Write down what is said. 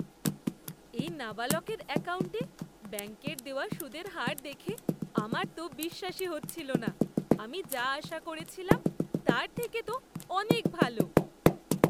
এই নাবালকের অ্যাকাউন্টে ব্যাঙ্কের দেওয়া সুদের হার দেখে আমার তো বিশ্বাসই হচ্ছিল না! আমি যা আশা করেছিলাম তার থেকে তো অনেক ভালো!